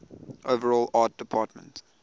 overall art department